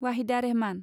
Waheeda Rehman